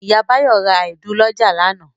Ìyá Báyọ̀ ra èédú lọ́jà lánàá.